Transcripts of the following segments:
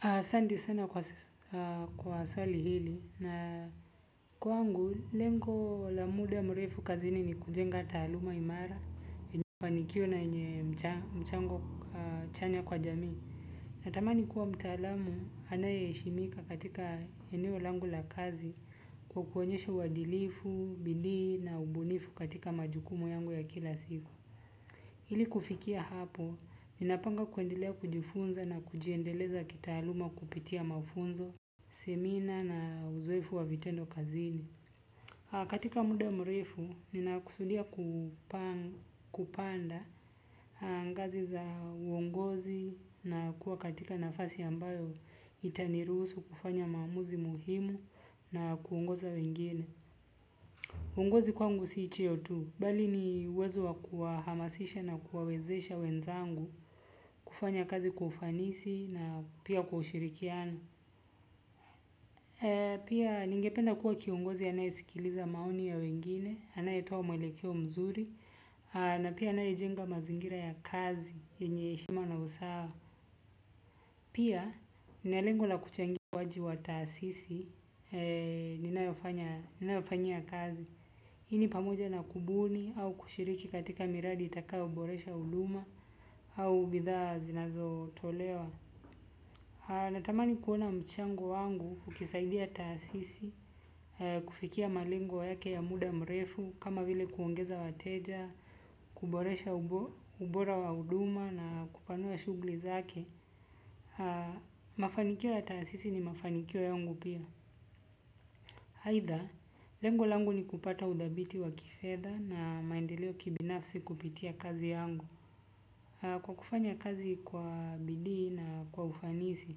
Asande sana kwa swali hili na kwa ngu lengo la muda mrefu kazi ni ni kujenga taluma imara, enye kwa nikio na enye mchango chanya kwa jami. Na tamani kuwa mtaalamu anayeshimika katika eneo langu la kazi kwa kuwonyesha wadilifu, bindi na ubunifu katika majukumu yangu ya kila siku. Hili kufikia hapo, ninapanga kuendelea kujifunza na kujiendeleza kitaluma kupitia mafunzo, semina na uzoefu wa vitendo kazini. Katika muda mrefu, ninakusudia kupanda ngazi za uongozi na kuwa katika nafasi ambayo itanirusu kufanya mamuzi muhimu na kuongoza wengine. Uongozi kwangu siicheo tu, bali ni uwezo wa kuwahamasisha na kuwawezesha wenzangu, kufanya kazi kwa ufanisi na pia kushirikiana. Pia ningependa kuwa kiongozi anayesikiliza maoni ya wengine, anayetoa umelekeo mzuri, na pia anayejenga mazingira ya kazi enye shima na usawa. Pia, ninalengo la kuchangia ukuwaji wa taasisi, ninaoifanyia kazi. Hini pamoja na kubuni au kushiriki katika miradi itakayo boresha uduma au bidhaa zinazo tolewa. Natamani kuona mchango wangu ukisaidia taasisi, kufikia malengo yake ya muda mrefu, kama vile kuongeza wateja, kuboresha ubora wa uduma na kupanua shugli zake. Haa, mafanikio ya taasisi ni mafanikio yangu pia. Haitha, lengo langu ni kupata udhabiti wa kifedha na maendeleo kibinafsi kupitia kazi yangu. Haa, kwa kufanya kazi kwa bidii na kwa ufanisi.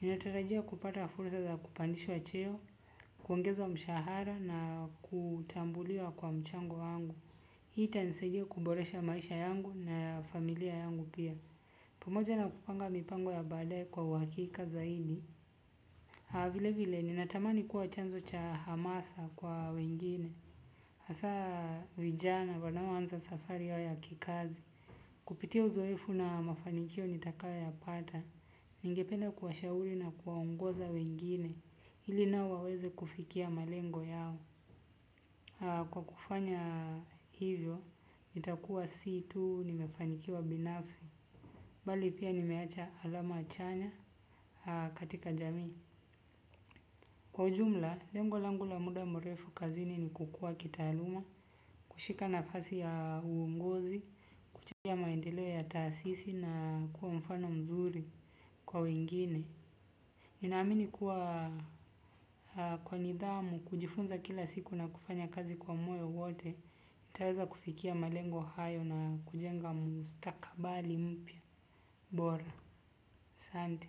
Ninatarajia kupata fursa za kupandishwa cheo, kuongezwa mshahara na kutambulia kwa mchango wangu. Hii tanisajia kuboresha maisha yangu na familia yangu pia. Pomoja na kupanga mipango ya badae kwa wakika zaidi. Vile vile, ninatamani kuwa chanzo cha hamasa kwa wengine. Asa, vijana, wanaoanza safari yao kikazi. Kupitia uzoefu na mafanikio nitakayoya pata. Ningependa kuwashauli na kuwaongoza wengine. Hili nao waweze kufikia malengo yao. Kwa kufanya hivyo, nitakuwa si tuu, nimefanikiwa binafsi. Bali pia nimeacha alama chanya katika jami. Kwa jumla, lengo langu la muda mrefu kazini ni kukua kitaluma, kushika nafasi ya uongozi, ya maendeleo ya taasisi na kuwa mfano mzuri kwa wengine. Ninaamini kuwa kwa nidhamu, kujifunza kila siku na kufanya kazi kwa moyo wote, nitaweza kufikia malengo hayo na kujenga mstakabali mpya. Bora, santi.